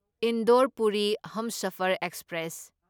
Indore Puri Humsafar express